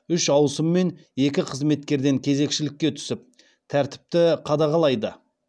үш ауысыммен екі қызметкерден кезекшілікке түсіп тәртіпті қадағалайды